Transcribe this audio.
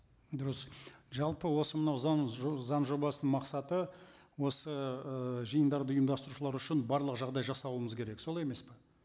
дұрыс жалпы осы мынау заң заң жобасының мақсаты осы ы жиындарды ұйымдастырушылар үшін барлық жағдай жасауымыз керек солай емес пе